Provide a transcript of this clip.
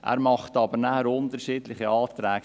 Er stellt aber nachher unterschiedliche Anträge.